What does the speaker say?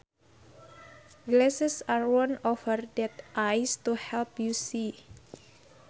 Glasses are worn over the eyes to help you see